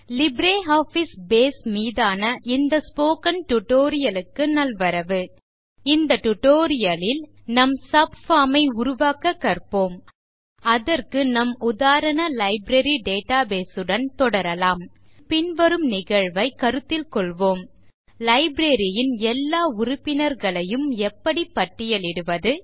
LibreOffice base மீதான இந்த spoken tutorial க்கு நல்வரவு இந்த டியூட்டோரியல் ல் நாம் சப்பார்ம் ஐ உருவாக்க கற்போம் அதற்கு நம் உதாரண லைப்ரரி டேட்டாபேஸ் உடன் தொடரலாம் மேலும் பின்வரும் நிகழ்வை கருத்தில் கொள்வோம் லைப்ரரி ன் எல்லா உறுப்பினர்களையும் எப்படி பட்டியலிடுவது